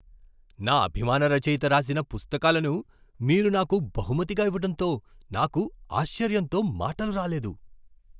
నా అభిమాన రచయిత రాసిన పుస్తకాలను మీరు నాకు బహుమతిగా ఇవ్వటంతో నాకు ఆశ్చర్యంతో మాటలు రాలేదు!